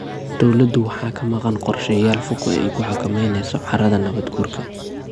Dawladdu waxa ka maqan qorshayaal fog oo ay ku xakamaynayso carrada nabaad guurka.